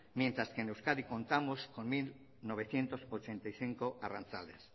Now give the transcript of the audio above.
mientras que en euskadi contamos con mil novecientos ochenta y cinco arrantzales